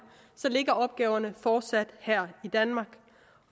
så ligger opgaverne fortsat her i danmark